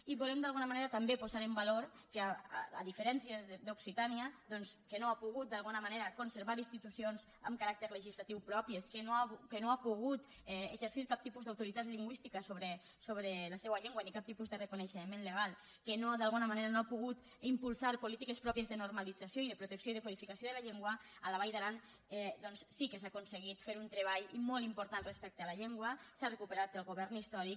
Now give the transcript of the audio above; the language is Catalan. i volem d’alguna manera també posar en valor que a diferència d’occitània doncs que no ha pogut d’alguna manera conservar institucions amb caràcter legislatiu pròpies que no ha pogut exercir cap tipus d’autoritat lingüística sobre la seua llengua ni cap tipus de reconeixement legal que d’alguna manera no ha pogut impulsar polítiques pròpies de normalització i de protecció i de codificació de la llengua a la vall d’aran sí que s’ha aconseguit fer un treball i molt important respecte a la llengua s’ha recuperat el govern històric